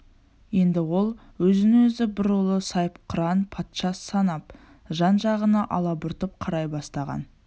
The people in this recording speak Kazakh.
енді ол өзін-өзі бір ұлы сайыпқыран патша санап жан-жағына алабұртып қарай бастаған